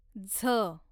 झ